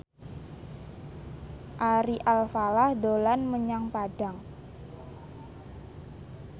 Ari Alfalah dolan menyang Padang